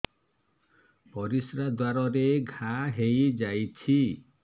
ପରିଶ୍ରା ଦ୍ୱାର ରେ ଘା ହେଇଯାଇଛି